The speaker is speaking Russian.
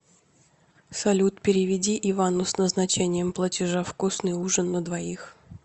салют переведи ивану с назначением платежа вкусный ужин на двоих